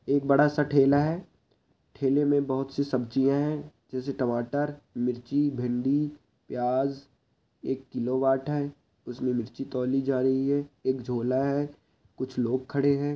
एक बड़ा-सा ठेला है ठेले में बहुत सी सब्जियाँ है जैसे टमाटर मिर्ची भिंडी प्याज एक किलो बाट है उसमें मिर्ची तौली जा रहीं हैं एक झोला है कुछ लोग खड़े है।